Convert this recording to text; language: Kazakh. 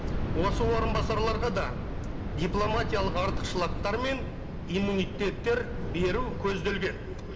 осы орынбасарларға да дипломатиялық артықшылықтар мен иммунитеттер беру көзделген